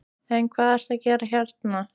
En hvað ertu að gera hérna?